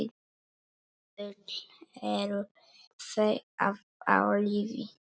Öll eru þau á lífi.